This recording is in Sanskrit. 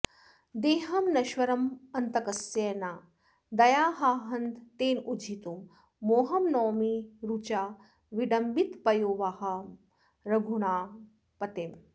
देहं नश्वरमन्तकस्य न दया हा हन्त तेनोज्झितुं मोहं नौमि रुचा विडम्बितपयोवाहं रघूणां पतिम्